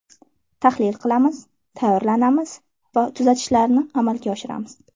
Tahlil qilamiz, tayyorlanamiz va tuzatishlarni amalga oshiramiz.